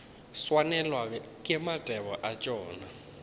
swanelwa ke mathebo a tšona